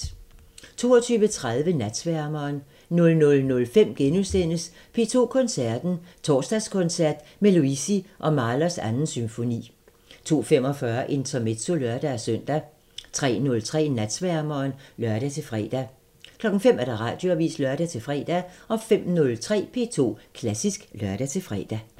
22:30: Natsværmeren 00:05: P2 Koncerten – Torsdagskoncert med Luisi og Mahlers 2. symfoni * 02:45: Intermezzo (lør-søn) 03:03: Natsværmeren (lør-fre) 05:00: Radioavisen (lør-fre) 05:03: P2 Klassisk (lør-fre)